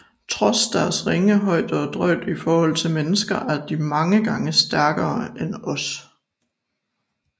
Trods deres ringe højde og drøjde i forhold til mennesker er de mange gange stærkere end os